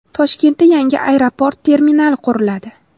Toshkentda yangi aeroport terminali quriladi .